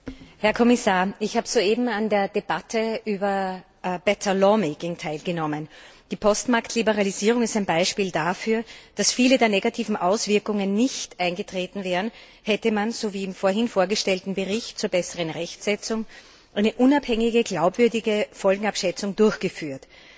Herr Präsident, Herr Kommissar! Ich habe soeben an der Debatte über teilgenommen. Die Postmarktliberalisierung ist ein Beispiel dafür, dass viele der negativen Auswirkungen nicht eingetreten wären, hätte man so wie im vorhin vorgestellten Bericht zur besseren Rechtsetzung eine unabhängige, glaubwürdige Folgenabschätzung durchgeführt.